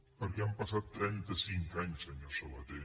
perquè han passat trenta cinc anys senyor sabaté